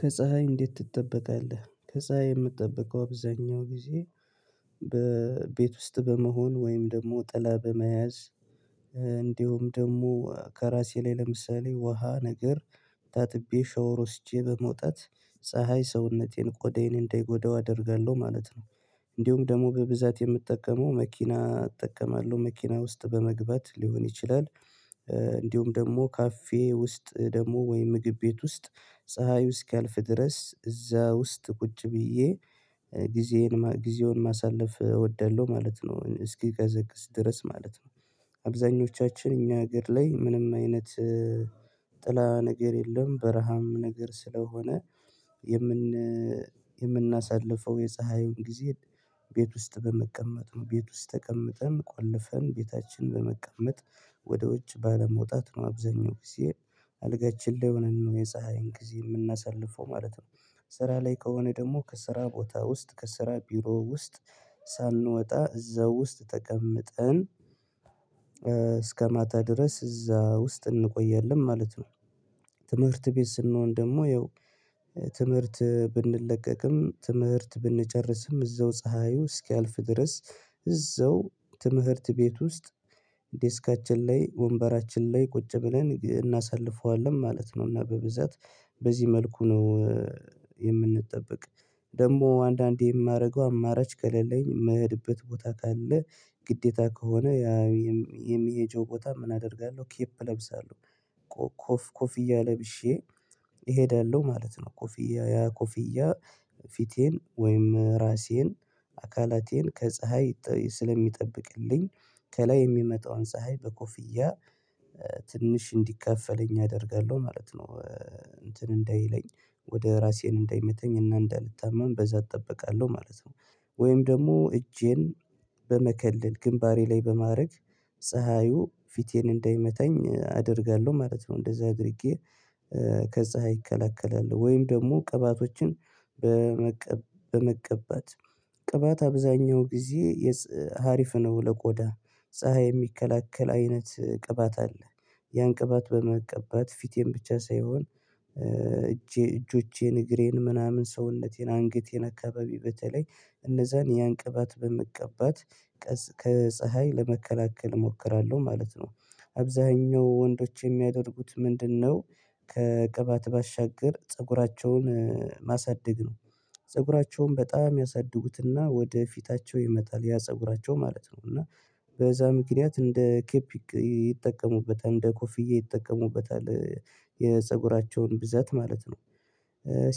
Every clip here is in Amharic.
ከፀሀይ እንዴት ትጠበቃለህ? ከፀሀይ የምትጠበቀው አብዛኛው ጊዜ በቤት ውስጥ በመሆን ወይም ደግሞ ጥላ በመያዝ እንዲሁም ደግሞ ከራሴ ላይ ለምሳሌ ውሃ ነገር ታጥቤ ሸወር ወስጄ በመውጣት ፀሀይ ሰውነቴን ቆዳዬን እንዳይጎዳው አደርጋለሁ ማለት ነው እንዲሁም ደግሞ በብዛት የምጠቀመው መኪና እጠቀማለሁ መኪና ውስጥ በመግባት ሊሆን ይችላል እንዲሁም ደግሞ ካፌ ውስጥ ደግሞ ወይ ምግብ ቤት ውስጥ ፀሀዩ እስኪያልፍ ድረስ እዛ ውስጥ ቁጭ ብዬ ጊዜዬን ጊዜውን ማሳለፍ እወዳለሁ ማለት ነው እስኪቀዘቅዝ ድረስ ማለት ነው አብዛኞቻችን እኛ ሀገር ላይ ምንም አይነት ጥላ ነገር የለም በረሃም ነገር ስለሆነ የምን የምናሳልፈው የፀሀዩን ጊዜ ቤት ውስጥ በመቀመጥ ነው ቤት ውስጥ ተቀምጠን ቆልፈን ቤታችን በመቀመጥ ወደ ውጭ ባለመውጣት ነው አብዛኛው ጊዜ አልጋችን ለይ ሆነን ነው የፀሀይን ጊዜ የምናሳልፈው ማለት ነው ስራ ላይ ከሆነ ደግሞ ከስራ ቦታ ውስጥ ከስራ ቢሮ ውስጥ ሳንወጣ እዛ ውስጥ ተቀምጠን እስከ ማታ ድረስ እዛ ውስጥ እንቆያለን ማለት ነው ትምህርት ቤት ስንሆን ደግሞ ያው ትምህርት ብንለቀቅም ትምህርት ብንጨርስም እዛው ፀሀዩ እስኪያልፍ ድረስ እዛው ትምህርት ቤት ውስጥ ላይ ወንበራችን ላይ ቁጭ ብለን እናሳልፈዋለን ማለት ነው እና በብዛት በዚህ መልኩ ነው የምንጠብቅ ደግሞ አንዳንዴ የማደርገው አማራጭ ከሌለኝ መህድበት ቦታ ካለ ግዴታ ከሆነ የሚሄጂው ቦታ ምን አደርጋለሁ ኬፕ እለብሳለሁ ኮፍ ኮፍያ ለብሼ እሄዳለሁ ማለት ነው ኮፍያ ኮፍያ ፊቴን ወይም ራሴን አካላቴን ከፀሀይ ስለሚጠብቅልኝ ከላይ የሚመጣውን ፀሀይ በኮፍያ ትንሽ እንዲከፈለኝ አደርጋለሁ ማለት ነው እንትን እንዳይለኝ ወደ ራሴን እንዳይመተኝ እና እንዳይታመም በዛ እጠብቃለሁ ማለት ነው ወይም ደግሞ እጄን በመከለል ግንባሬ ላይ በማድረግ ፀሀዩ ፊቴን እንዳይመታኝ አደርጋለሁ ማለት ነው እንደዛ አድርጌ ከዛ ይከላከላል ወይም ደግሞ ቅባቶችን በመቀ በመቀባት ቅባት አብዛኛው ጊዜ የፅ ሀሪፍ ነው ለቆዳ ፀሀይ የሚከለክል አይነት ቅባት አለ ያን ቅባት በመቀባት ፊቴን ብቻ ሳይሆን እጄ እጆቼን እግሬን ምናምን ሰውነቴን አንገቴን አካባቢ በተለይ እነዛን ያንቀባት በምቀባት ከፀሀይ ለመከላከል እሞክራለሁ ማለት ነው አብዛኛው ወንዶች የሚያደርጉት ምንድነው ከቅባት ባሻገር ፀጉራቸውን ማሳደግ ነው ፀጉራቸውን በጣም ያሳድጉትና ወደ ፊታቸው ይመጣል ያ ፀጉራቸው ማለት ነው እና በዛ ምክንያት እንደ ኬፒ ይጠቀሙበታል እንደ ኮፍዬ ይጠቀሙበታል የፀጉራቸውን ብዛት ማለት ነው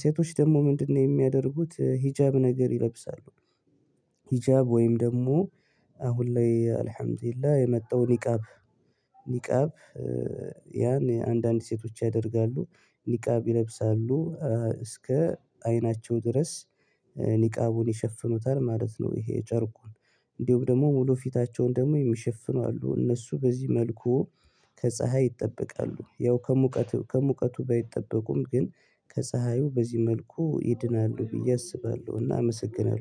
ሴቶች ደግሞ ምንድነው የሚያደርጉት ሂጃብ ነገር ይለብሳሉ ሂጃብ ወይም ደግሞ አሁን ላይ አልሀምዱሊላህ የለ የመጣው ኒቃብ ኒቃብ ያን አንዳንድ ሴቶች ያደርጋሉ ኒቃብ ይለብሳሉ እስከ አይናቸው ድረስ ኒቃቡን ይሸፍኑታል ማለት ነው ይሄ የጨርቁን እንዲሁም ደግሞ ሙሉ ፊታቸውን ደግሞ የሚሸፍኑ አሉ እነሱ በዚህ መልኩ ከፀሀይ ይጠበቃሉ ያው ከሙቀቱ ከሙቀቱ ባይጠበቁም ግን ከፀሀዩ በዚህ መልኩ ይድናሉ ብዬ አስባለሁና አመሰግናለሁ